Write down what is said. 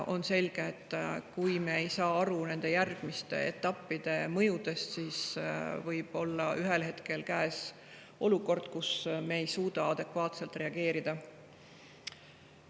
On selge, et kui me ei saa aru nende järgmiste etappide mõjudest, siis võib ühel hetkel käes olla olukord, kus me ei suuda adekvaatselt reageerida.